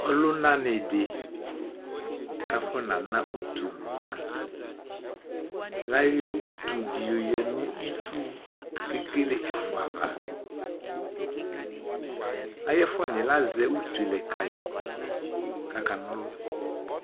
Ɔlʋna ni di kʋ afɔna na ʋtu lʋna Layɔ ʋtu di yɔya nʋ itsu kʋ ekele ɛfʋa ava Ayʋ ɛfʋaniɛ lazɛ ʋtu lɛ kayi kʋ aka na ɔlʋ